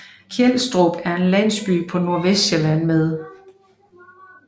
Kelstrup er en landsby på Nordvestsjælland med